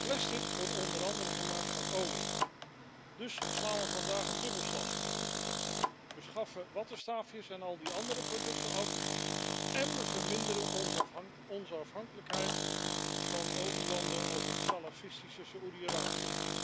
Plastic wordt onder andere gemaakt van olie, dus slaan we vandaag een dubbelslag we schaffen wattenstaafjes en al die andere producten af en we verminderen onze afhankelijkheid van olielanden als het salafistische Saudi Arabië.